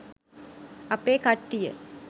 අපේ කට්ටිය